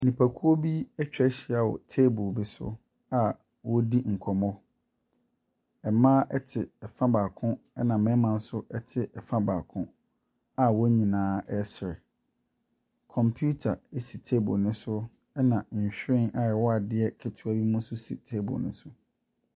Nipakuo bi atwa ahyia wɔ table bi so, wɔredi nkɔmmɔ. Mmaa te fa baako na mmarima nso te fa baako a wɔn nyinaa resere. Computer si table no so, si tabke no so, ɛna nhwiren a ɛwɔ adeɛ ketewa bi mu nso si table no so.